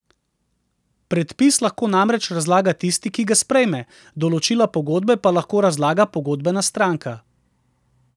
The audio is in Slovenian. Predpis lahko namreč razlaga tisti, ki ga sprejme, določila pogodbe pa lahko razlaga pogodbena stranka.